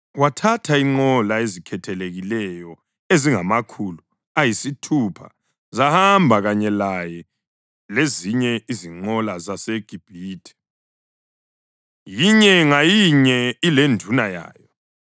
Wathatha izinqola ezikhethekileyo ezingamakhulu ayisithupha zahamba kanye lezinye izinqola zaseGibhithe, yinye ngayinye ilenduna yayo.